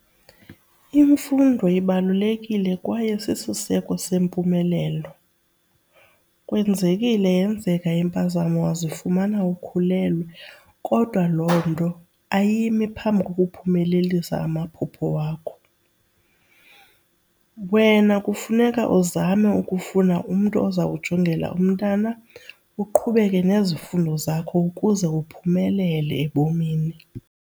Imfundo ibalulekile kwaye sisiseko sempumelelo. Kwenzekile yenzeka impazamo wazifumana ukhulelwe kodwa loo nto ayimi phambi kokuphumelelisa amaphupho wakho. Wena kufuneka uzame ukufuna umntu oza kujongela umntana uqhubeke nezifundo zakho ukuze uphumelele ebomini.